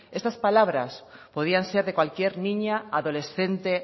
estas palabras podían ser de cualquier niña adolescente